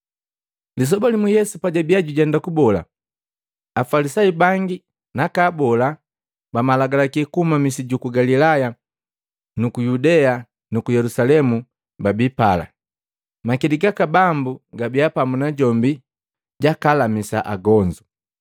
Lisoba limu Yesu pajabiya jutenda kubola, Afalisayu bangi naka abola ba malagalaki kuhuma misi juku Galilaya, ku Yudea nuku Yelusalemu, babi pala. Makili gaka Bambu gabia pamu najombi jakalamisa agonzu.